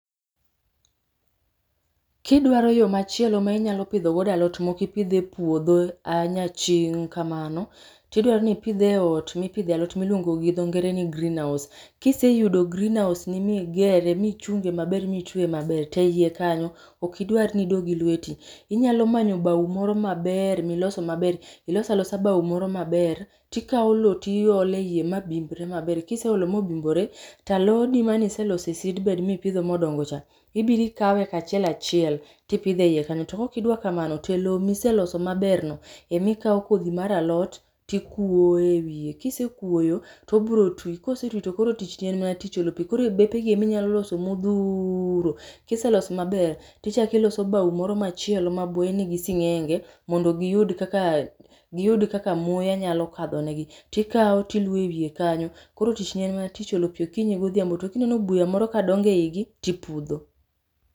Kidwaro yoo machielo ma inyalo pidho go alot ma ok ipidh e puodho a nyaching' kamano to idwaro ni ipidh e ot mipidhe alot miluongo gi dho ngere ni greenhouse. Kiseyudo greenhouse ni migere, michunge maber michweye maber, to eiye kanyo ok idwar ni idoo gi lweti. Inyalo manyo bao moro maber miloso maber, iloso alosa bao moro maber tikao loo iole iye ma bimbre maber, kiseolo ma obimbore, to alodi mane ilseloso e seedbed mipidho modongo cha, ibiro ikawe kachiel achiel tipidhe eiye kanyo to ka ok idwa kamano to e loo miseloso maber no ema ikao kodhi mar alot tikuro ewiye, kisekuoyo tobiro tii, kosetii tokoro tich ni en mana tich olo pii. Koro bepe gi ema inya loso modhuro .Kiseloso maber tichak iloso bao moro machielo ma buoye nigi singenge mondo giyud kaka ,giyud kaka muya nyalo kadho negi tikao tiluoyo ewiye kanyo, koro tichni en mana olo pii gokinyi godhiambo to ka ineno buya moro kadongo eigi tipudho